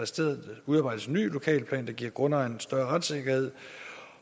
stedet udarbejdes en ny lokalplan der giver grundejerne større retssikkerhed